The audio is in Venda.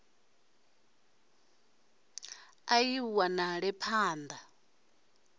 i a ṱo ḓea phanḓa